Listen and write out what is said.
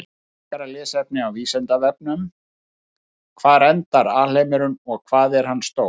Frekara lesefni á Vísindavefnum: Hvar endar alheimurinn og hvað er hann stór?